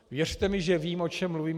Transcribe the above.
Věřte mi, že vím, o čem mluvím.